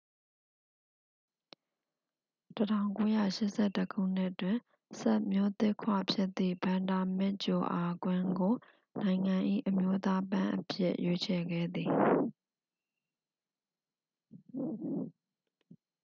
1981 ခုနှစ်တွင် စပ်မျိုးသစ်ခွဖြစ်သည့် ဗန်ဒါမစ်ဂျိုအာကွင်းကို နိုင်ငံ၏ အမျိုးသားပန်းအဖြစ် ရွေးချယ်ခဲ့သည်